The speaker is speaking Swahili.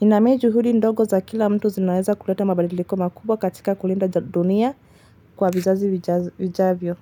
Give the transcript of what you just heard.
Inameju huli ndogo za kila mtu zinaweza kuleta mabadiliko makubwa katika kulinda dunia kwa vizazi wijavyo.